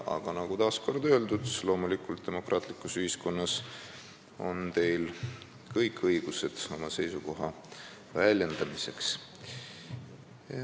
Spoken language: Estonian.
Aga ütlen taas kord, et loomulikult on teil demokraatlikus ühiskonnas kõik õigused oma seisukohtade väljendamiseks.